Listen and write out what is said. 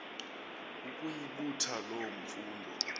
ukuyibutha loo mfundo